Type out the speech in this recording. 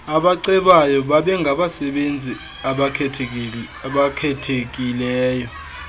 abacebayo babengabasebenzi abakhethekileyo